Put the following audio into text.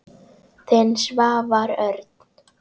Þinn, Svavar Örn.